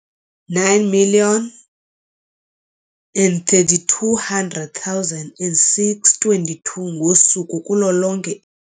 9 032 622 ngosuku kulo lonke.